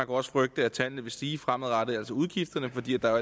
også frygte at tallene vil stige fremadrettet altså udgifterne fordi der jo